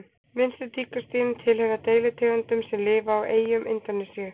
minnstu tígrisdýrin tilheyra deilitegundum sem lifa á eyjum indónesíu